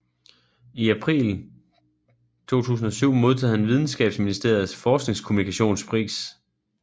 I april 2007 modtog han videnskabsministeriets Forskningskommunikationspris